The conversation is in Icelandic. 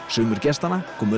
sumir gestanna komu